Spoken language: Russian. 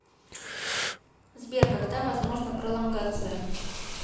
сбер когда возможна пролонгация